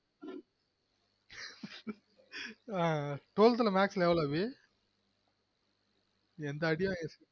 ஆஹ் twelve th ல maths ல எவ்வளவு என்ட்ட அடி வாங்கிருக்க